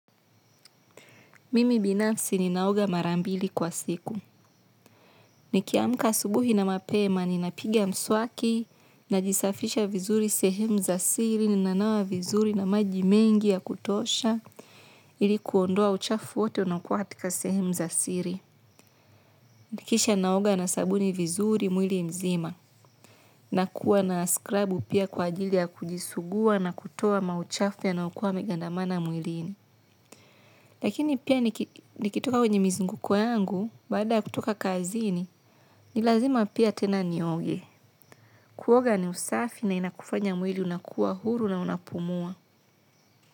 Mimi binafsi ninaoga mara mbili kwa siku. Nikiamka asubuhi na mapema ninapiga mswaki, najisafisha vizuri sehemu za siri ninanawa vizuri na maji mengi ya kutosha ili kuondoa uchafu wote unaokuwa katika sehemu za siri. Kisha ninaoga na sabuni vizuri mwili mzima. Nakuwa na skrabu pia kwa ajili ya kujisugua na kutoa mauchafu yanayokuwa yamegandamana mwilini. Lakini pia nikitoka kwenye mizunguko yangu baada ya kutoka kazini ni lazima pia tena nioge. Kuoga ni usafi na inakufanya mwili unakuwa huru na unapumua.